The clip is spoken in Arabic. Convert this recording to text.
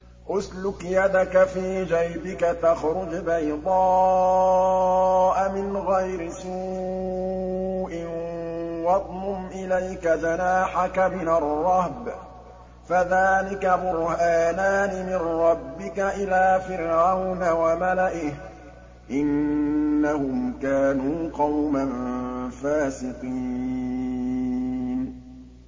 اسْلُكْ يَدَكَ فِي جَيْبِكَ تَخْرُجْ بَيْضَاءَ مِنْ غَيْرِ سُوءٍ وَاضْمُمْ إِلَيْكَ جَنَاحَكَ مِنَ الرَّهْبِ ۖ فَذَانِكَ بُرْهَانَانِ مِن رَّبِّكَ إِلَىٰ فِرْعَوْنَ وَمَلَئِهِ ۚ إِنَّهُمْ كَانُوا قَوْمًا فَاسِقِينَ